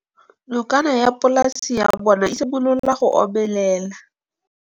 Nokana ya polase ya bona, e simolola go omelela.